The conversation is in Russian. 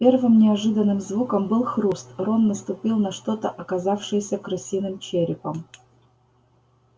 первым неожиданным звуком был хруст рон наступил на что-то оказавшееся крысиным черепом